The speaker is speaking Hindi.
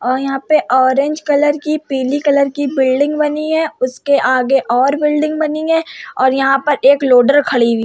और यहाँ पे ऑरेंज कलर की पीली कलर की बिल्डिंग बनी है। उसके आगे और बिल्डिंग बनी है और यहाँ पर एक लोडर खडी हुई --